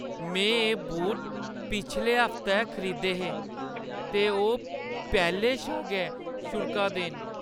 मैं एह् बूट पिछले हफ्तै खरीदे हे ते ओह् पैह्‌लें शा गै छुड़का दे न ।